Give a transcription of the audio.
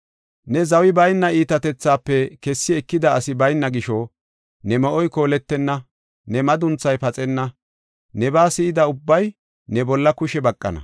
Neeni zawi bayna iitatethaafe kessi ekida asi bayna gisho, ne me7oy kooletenna; ne madunthay paxenna. Nebaa si7ida ubbay ne bolla kushe baqana.